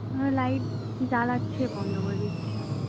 হ্যাঁ light জ্বালাচ্ছে বন্ধ করে দিচ্ছে